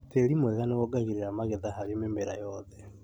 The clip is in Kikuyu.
Tĩri mwega nĩwongagĩrĩra magetha harĩ mĩmera yothe